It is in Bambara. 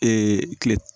kile